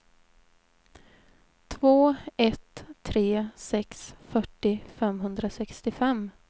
två ett tre sex fyrtio femhundrasextiofem